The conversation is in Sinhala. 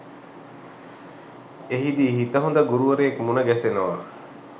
එහිදී හිත හොඳ ගුරුවරයෙක් මුණ ගැසෙනවා.